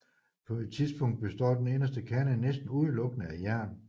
På et tidspunkt består den inderste kerne næsten udelukkende af jern